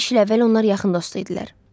Beş il əvvəl onlar yaxın dost idilər.